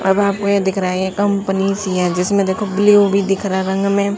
अब आपको ये दिख रहा है ये कंपनी सी है जिसमे देखो ब्लू भी दिख रहा है रंग मे--